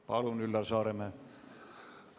Palun, Üllar Saaremäe!